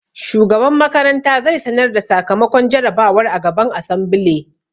Shugaban makaranta zai sanar da sakamakon jarabawar a gaban asambile